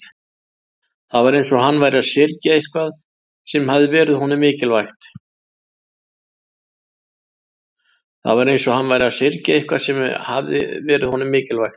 Það var eins og hann væri að syrgja eitthvað sem hafði verið honum mikilvægt.